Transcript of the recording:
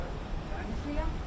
Yaxşıyam.